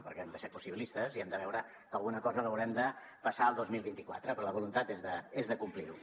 perquè hem de ser possibilistes i hem de veure que alguna cosa l’haurem de passar al dos mil vint quatre però la voluntat és de complir ho